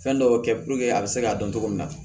Fɛn dɔw kɛ a bɛ se k'a dɔn cogo min na